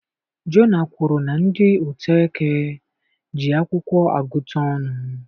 Jona kwuru na ndị Utoeke ji akwụkwọ agụta ọnụ